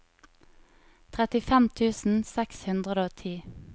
trettifem tusen seks hundre og ti